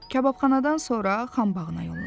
Kababxanadan sonra Xəmbəğına yollandı.